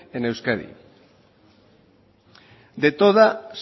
en euskadi de todas